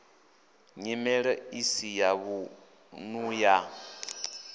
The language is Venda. nyimelo isi ya vhunḓu ya